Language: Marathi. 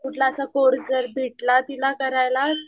कुठला असा कोर्स जर भेटला तिला करायला